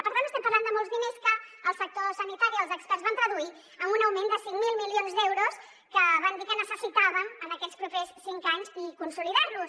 per tant estem parlant de molts diners que el sector sanitari els experts van traduir amb un augment de cinc mil milions d’euros que van dir que necessitàvem en aquests propers cinc anys i consolidar los